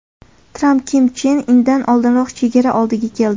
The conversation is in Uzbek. Tramp Kim Chen Indan oldinroq chegara oldiga keldi.